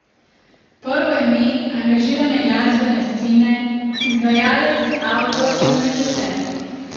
Prvo ime angažirane glasbene scene, izvajalec, avtor in režiser.